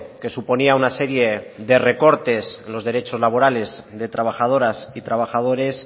que suponía una serie de recortes en los derechos laborales de trabajadoras y trabajadores